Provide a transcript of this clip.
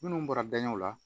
Minnu bɔra daɲɛw la